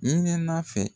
Ɲinɛnen fɛ